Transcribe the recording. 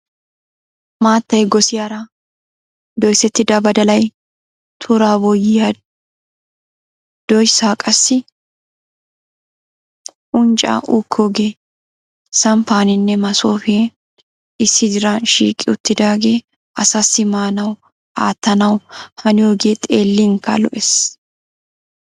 Maattay gossiyaara, doyssetida badalay, tura boyyiyaa doyssay qassi unccaa uukkooge samppaninne maasopiyan issi diran shiiqi uttidaagee asassi maanaw aattanaw haniyooge xeellinkka lo"ees.